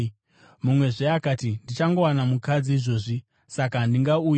“Mumwezve akati, ‘Ndichangowana mukadzi izvozvi, saka handingauyi.’